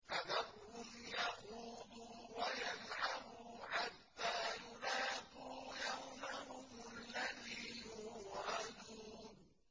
فَذَرْهُمْ يَخُوضُوا وَيَلْعَبُوا حَتَّىٰ يُلَاقُوا يَوْمَهُمُ الَّذِي يُوعَدُونَ